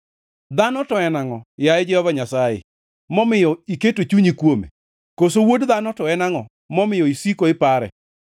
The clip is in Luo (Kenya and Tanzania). Dhano to en angʼo, yaye Jehova Nyasaye, momiyo iketo chunyi kuome, koso wuod dhano to en angʼo, momiyo isiko ipare?